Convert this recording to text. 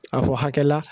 A fɔ hakɛ la